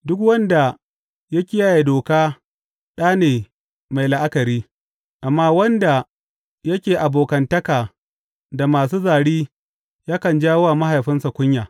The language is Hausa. Duk wanda ya kiyaye doka ɗa ne mai la’akari, amma wanda yake abokantaka da masu zari yakan jawo wa mahaifinsa kunya.